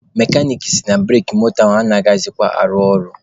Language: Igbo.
Mekanik sị na bureki moto gị anaghịkwa arụ ọrụ.